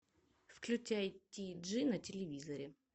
включай ти джи на телевизоре